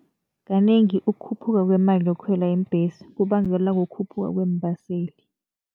Kanengi ukukhuphuka kwemali yokukhwela iimbhesi kubangelwa kukhuphuka kweembaseli.